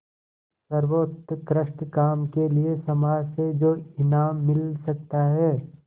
सर्वोत्कृष्ट काम के लिए समाज से जो इनाम मिल सकता है